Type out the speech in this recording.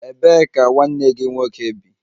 Ebee ka nwanne gị nwoke bi?